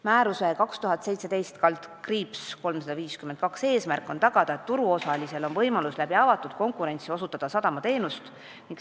Määruse 2017/352 eesmärk on tagada, et turuosalistel on võimalus avatud konkurentsis sadamateenuseid osutada.